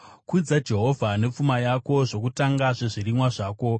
Kudza Jehovha nepfuma yako, zvokutanga zvezvirimwa zvako;